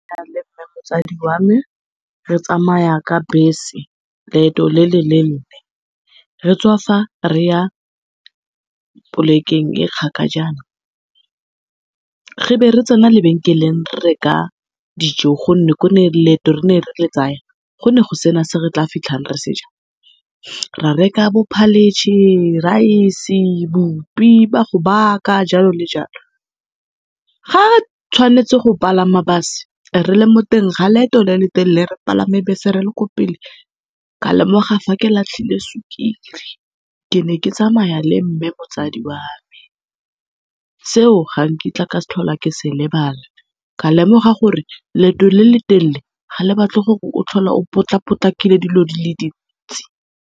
motsadi wa me re tsamaya ka bese leeto le le leele, re tswa fa re ya polekeng e e kgakajana. Re be re tsena lebenkeleng re reka dijo gonne ko ne re go ne go se na se re tla fitlhang re se ja. Ra reka bo , rice, bupi ba go baka jalo le jalo. Ga re tshwanetse go palama base, re le mo teng ga loeto le le telele re palame bese re le ko pele ka lemoga fa ke latlhile sukiri. Ke ne ke tsamaya le mme motsadi wa me, seo ga nkitla ka tlhola ke se lebala. Ka lemoga gore leeto le le telele ga le batle o tlhola o potlapotlile dilo di le dintsi.